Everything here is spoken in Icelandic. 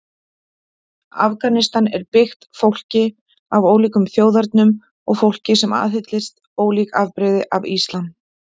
Afganistan er byggt fólki af ólíkum þjóðernum og fólki sem aðhyllist ólík afbrigði af islam.